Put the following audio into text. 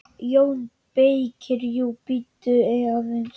JÓN BEYKIR: Jú, bíddu aðeins!